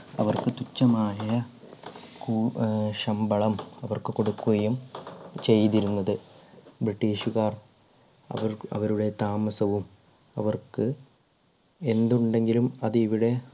അവർക്ക് തുച്ഛമായ കൂ അഹ് ശമ്പളം അവർക്ക് കൊടുക്കുകയും ചെയ്തിരുന്നത് british കാർ അവർ അവരുടെ താമസവും അവർക്ക് എന്തുണ്ടെങ്കിലും അത് ഇവിടെ